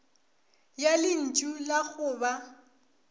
ya lentšu la go ba